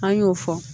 An y'o fɔ